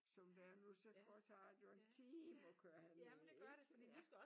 Som det er nu så tager det jo en time at køre herned ikke ja